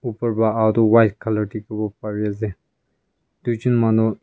opor pa aha toh white colour dikhiwo parease tuijun manu.